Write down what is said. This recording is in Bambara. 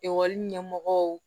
Ekɔli ɲɛmɔgɔw